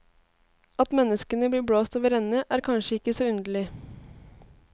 At menneskene blir blåst over ende, er kanskje ikke så underlig.